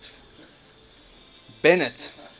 bennet